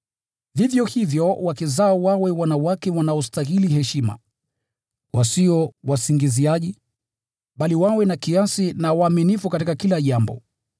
Vivyo hivyo, wake zao wawe wanawake wanaostahili heshima, wasio wasingiziaji, bali wawe na kiasi na waaminifu katika kila jambo.